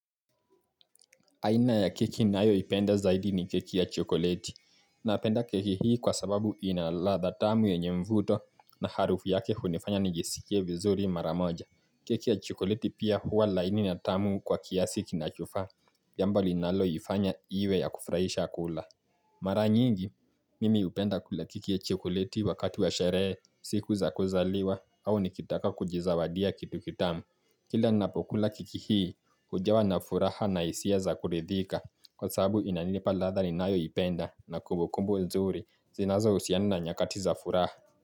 Aina ya keki ninayo ipenda zaidi ni keki ya chokoleti. Napenda keki hii kwa sababu ina ladha tamu yenye mvuto na harufu yake hunifanya nijisikie vizuri mara moja. Keki ya chokoleti pia huwa laini na tamu kwa kiasi kinachofaa. Jambo linalo ifanya iwe ya kufurahisha kula. Mara nyingi, mimi hupenda kula keki ya chokoleti wakati wa sherehe, siku za kuzaliwa au nikitaka kujizawadia kitu kitamu. Kila ninapokula keki hii hujawa na furaha na hisia za kuridhika kwa sababu inanipa ladha ninayo ipenda na kumbukumbu nzuri zinazo husiana na nyakati za furaha.